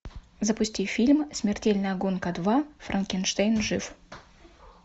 запусти фильм смертельная гонка два франкенштейн жив